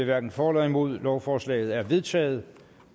hverken for eller imod lovforslaget er vedtaget